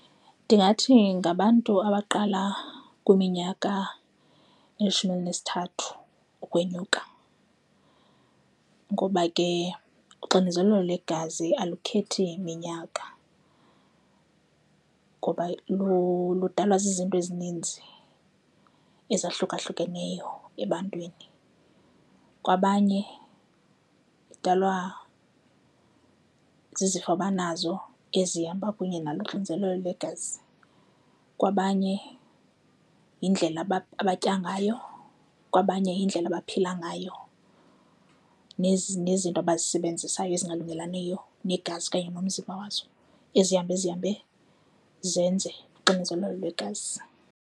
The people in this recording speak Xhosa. Ndingathi ngabantu abaqala kwiminyaka elishumi elinesithathu ukwenyuka ngoba ke uxinezelelo lwegazi akukhethi minyaka ngoba ludalwa zizinto ezininzi ezahlukahlukeneyo ebantwini. Kwabanye idalwa zizifo banazo ezihamba kunye nalo uxinzelelo legazi, kwabanye yindlela abatya ngayo. Kwabanye indlela abaphila ngayo nezi nezinto abazisebenzisayo ezingalungelaniyo negazi okanye nomzimba wazo, ezihamba zihambe zenze uxinezelelo lwegazi.